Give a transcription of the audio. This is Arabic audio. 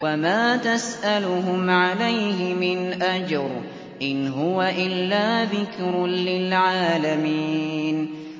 وَمَا تَسْأَلُهُمْ عَلَيْهِ مِنْ أَجْرٍ ۚ إِنْ هُوَ إِلَّا ذِكْرٌ لِّلْعَالَمِينَ